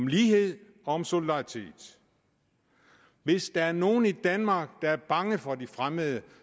lighed og solidaritet hvis der er nogen i danmark der er bange for de fremmede